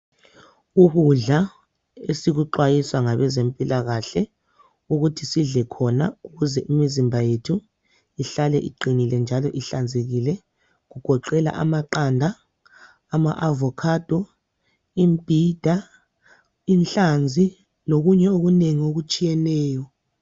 Ukudla esikuxwayiswa ngabezempilakahle ukuthi sidle khona ukuze imizimba yethu ihlale iqinile njalo ihlanzekile kugoqela amaqanda ,ama avocado ,imbhida ,inhlanzi lokunye okunengi okutshiyeneyo.